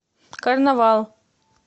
карнавал